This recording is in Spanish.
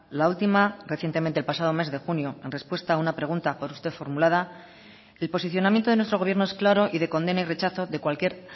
la última recientemente el pasado mes de junio en respuesta a una pregunta por usted formulada el posicionamiento de nuestro gobierno es claro y de condena y rechazo de cualquier